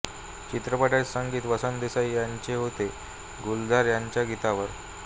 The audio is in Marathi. चित्रपटाचे संगीत वसंत देसाई यांचे होते गुलजार यांच्या गीतांवर